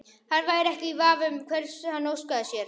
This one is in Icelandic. Hann væri ekki í vafa um hvers hann óskaði sér.